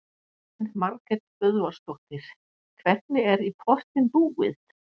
Elín Margrét Böðvarsdóttir: Hvernig er í pottinn búið?